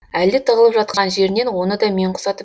әлде тығылып жатқан жерінен оны да мен құсатып